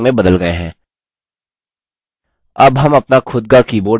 अब हम अपना खुद का keyboard बनाएँगे